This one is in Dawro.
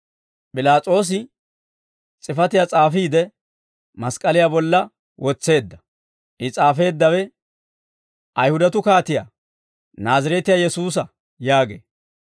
P'ilaas'oosi s'ifatiyaa s'aafiide, mask'k'aliyaa bolla wotseedda. I s'aafeeddawe, «Ayihudatuu Kaatiyaa, Naazireetiyaa Yesuusa» yaagee.